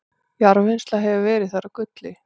jarðvinnsla hefur verið þar á gulli